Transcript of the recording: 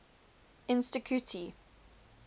insticuti